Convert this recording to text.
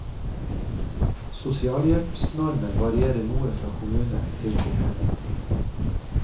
Sosialhjelpsnormen varierer noe fra kommune til kommune.